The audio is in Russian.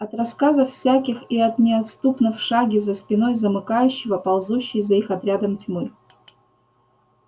от рассказов всяких и от неотступно в шаге за спиной замыкающего ползущей за их отрядом тьмы